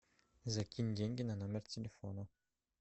закинь деньги на номер телефона